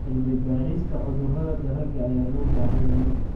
Cilmi-baarista cudurrada dalagga ayaa loo baahan yahay.